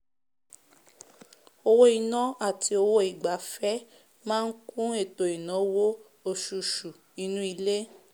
owó inà àti owó ìgbafẹ́ máá kún ètò ìnáwó osusù inú ilé